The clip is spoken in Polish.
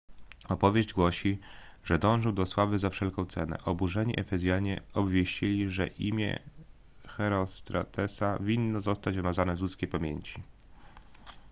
opowieść głosi że dążył do sławy za wszelką cenę oburzeni efezjanie obwieścili że imię herostratesa winno zostać wymazane z ludzkiej pamięci